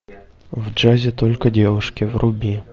в джазе только девушки вруби